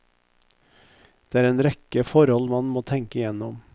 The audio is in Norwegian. Det er en rekke forhold man må tenke gjennom.